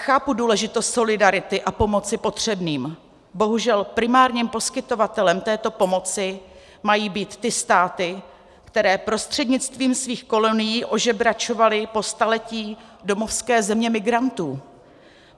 Chápu důležitost solidarity a pomoci potřebným, bohužel primárním poskytovatelem této pomoci mají být ty státy, které prostřednictvím svých kolonií ožebračovaly po staletí domovské země migrantů.